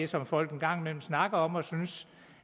som folk en gang imellem snakker om og synes